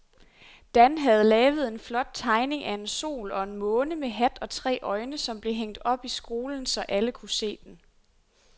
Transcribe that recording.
Dan havde lavet en flot tegning af en sol og en måne med hat og tre øjne, som blev hængt op i skolen, så alle kunne se den.